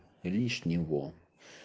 лишнего